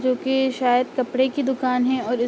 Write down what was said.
जोकि शायद कपडे की दुकान है और इस --